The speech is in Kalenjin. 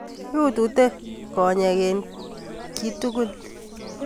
Utute konyek eng kitukuik